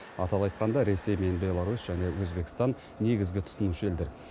атап айтқанда ресей мен беларусь және өзбекстан негізгі тұтынушы елдер